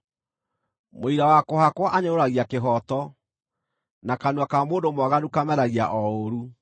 Mũira wa kũhakwo anyũrũragia kĩhooto, na kanua ka mũndũ mwaganu kameragia o ũũru.